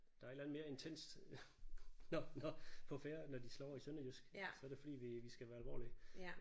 Der er et eller andet mere intenst når når på færde når de slår over i sønderjysk så er det fordi vi vi skal være alvorlige